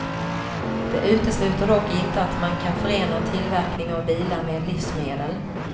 Det utesluter dock inte att man kan förena tillverkning av bilar med livsmedel.